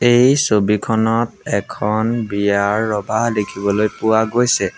এই ছবিখনত এখন বিয়াৰ ৰভা দেখিবলৈ পোৱা গৈছে।